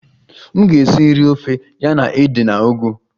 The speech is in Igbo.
M ga-esi nri ofe ya na ede na ugu